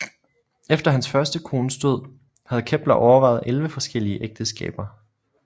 Efter hans første kones død havde Kepler overvejet 11 forskellige ægteskaber